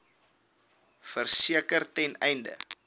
verseker ten einde